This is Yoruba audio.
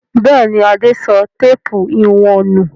Bẹ́ẹ̀ ni, Adé sọ téépù ìwọ̀n nù.